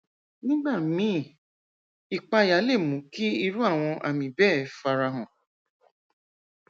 nígbà míì ìpayà lè mú kí irú àwọn àmì bẹẹ fara hàn